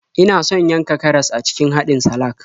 Ina son yanka karas a cikin haɗin salak.